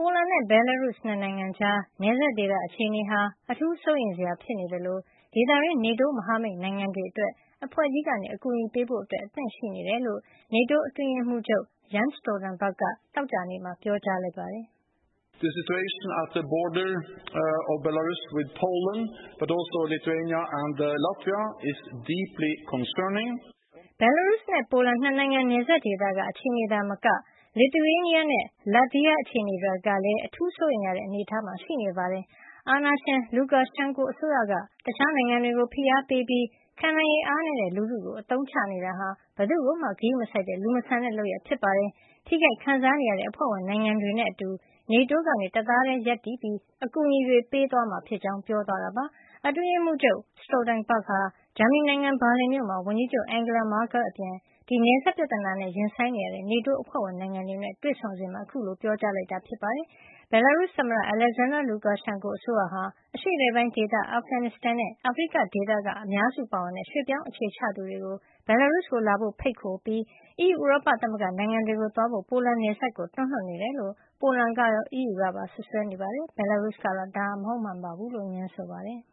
ိုလန်နဲ့ ဘယ်လာရုစ် ၂ နိုင်ငံကြား နယ်စပ်ဒေသ အခြေနေဟာ အထူးစိုးရိမ်စရာ ဖြစ်နေသလို ဒေသတွင်း NATO မဟာမိတ်နိ်ုင်ငံတွေအတွက် အဖွဲ့ကြီးက အကူညီပေးဖို့ အသင့်ရှိနေကြောင်း NATO အတွင်းရေးမှုးချုပ် Jens Stoltenberg က သောကြာနေ့မှာ ပြောကြားလိုက်ပါတယ်။ "ဘယ်လာရုစ်နဲ့ ပိုလန် ၂ နိုင်ငံနယ်စပ်ဒေသက အခြေနေသာမက Lithuania နဲ့ Latvia အခြေနေတွေကလည်း အထူးစိုးရိမ်ရတဲ့ အနေထားမှာ ရှိနေပါတယ်။ အာဏာရှင် Lukashenko အစိုးရက တခြားနိုင်ငံတွေကို ဖိအားပေးပြီး ခံနိုင်ရည်အားနည်းတဲ့ လူထုကို အသုံးချ နေတာဟာ ဘယ်သူ့ကိုမှ ဂရုမစိုက်တဲ့ လူမဆန်တဲ့ လုပ်ရပ်ဖြစ်ပါတယ်။ ထိခိုက်ခံစားနေရတဲ့ အဖွဲ့ဝင်နိုင်ငံတွေနဲ့အတူ NATO က တသားတည်း ရပ်တည်နေပြီး ကူညီတွေ ပေးသွားမှာ ဖြစ်ကြောင်း ပြောသွားတာပါ။ အတွင်းရေးမှုးချုပ် Stoltenberg ဟာ ဂျာမဏီနိုင်ငံ ဘာလင်မြို့မှာ ဝန်ကြီးချုပ် Angela Merkel အပြင် ဒီနယ်စပ်ပြဿနာနဲ့ ရင်ဆိုင်နေရတဲ့ NATO အဖွဲ့ဝင်နိုင်ငံတွေနဲ့ တွေ့ဆုံစဉ်မှာ အခုလို ပြောကြားလိုက်တာ ဖြစ်ပါတယ် ဘယ်လာရုစ် သမ္မတ Alexander Lukashenko အစိုးရဟာ အရှေ့အလယ်ပိုင်းဒေသ၊ အာဖဂန်နစ်စတန်နဲ့ အာဖရိက ဒေသက အများစုပါဝင်တဲ့ ရွှေ့ပြောင်းအခြေချသူတွေကို ဘယ်လာရုစ်ကို လာဖို့ ဖိတ်ခေါ်ပြီး အီးယူ ဥရောပသမဂ္ဂနိုင်ငံတွေကို သွားဖို့ ပိုလန်နယ်စပ်ကို တွန်းလွှတ်နေတယ်လို့ ပိုလန်ကရော အီးယူကပါ စွပ်စွဲနေတာပါ။ ဘယ်လာရုစ်ကတော့ ဒါဟာ မဟုတ်မှန်ဘူးလို့ ငြင်းဆိုပါတယ်။